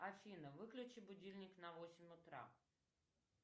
афина выключи будильник на восемь утра